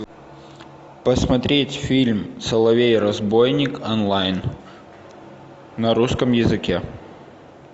посмотреть фильм соловей разбойник онлайн на русском языке